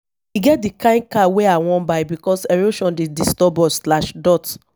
e get di kain car wey i wan buy because erosion dey disturb us.